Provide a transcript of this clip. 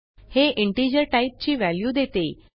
हे इंटिजर टाईपची व्हॅल्यू देते